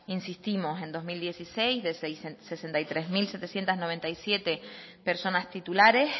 insistimos en dos mil dieciséis de seiscientos sesenta y tres mil setecientos noventa y siete personas titulares